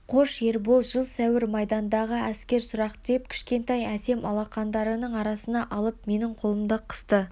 қош ербол жыл сәуір майдандағы әскер сұрақ деп кішкентай әсем алақандарының арасына алып менің қолымды қысты